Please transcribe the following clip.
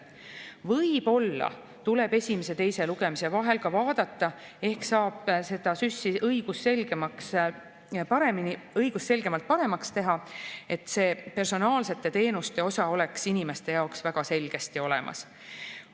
Võib-olla tuleb esimese ja teise lugemise vahel ka vaadata, ehk saab seda SÜS‑i õigusselgemaks ja paremaks teha, et see personaalsete teenuste osa oleks inimeste jaoks väga selgesti olemas.